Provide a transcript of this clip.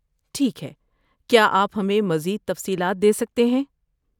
ٹھیک ہے، کیا آپ ہمیں مزید تفصیلات دے سکتے ہیں؟